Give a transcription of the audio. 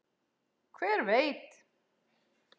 Hver veit